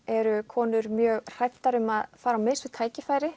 eru konur mjög hræddar um að fara á mis við tækifæri